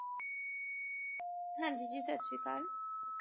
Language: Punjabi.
ਹਾਂਜੀ ਜੀ, ਸਤਿ ਸ਼੍ਰੀ ਅਕਾਲ